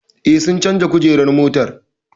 Eh, sun canja kujerar motar